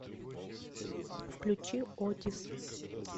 включи отис